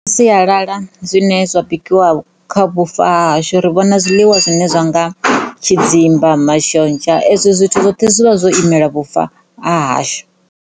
Sialala zwine zwa bikiwa kha vhufa ha hashu ri vhona zwiḽiwa zwine zwa nga tshidzimba mashonzha ezwo zwithu zwoṱhe zwi vha zwo imela vhufa ha hashu.